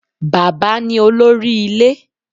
Bàbá ni olórí ilé